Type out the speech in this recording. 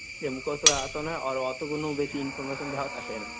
যে মুখস্থ hindi হয়, আর অতোগুলোও বেশি Information দেওয়া থাকে না।